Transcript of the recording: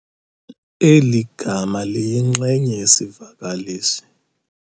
Eli gama liyinxenye yesivakalisi